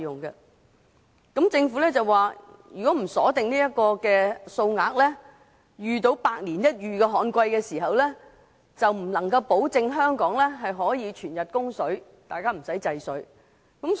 就此，政府回應指出，如不鎖定供水額，當遇上百年一遇的旱季時，就無法保證香港可以全日供水，屆時便要限制用水。